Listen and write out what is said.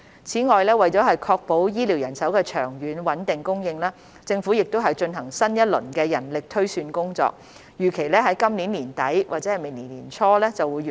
此外，為確保醫療人手的長遠穩定供應，政府正進行新一輪人力推算工作，預期於今年年底或明年年初完成。